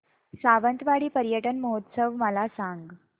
सावंतवाडी पर्यटन महोत्सव मला सांग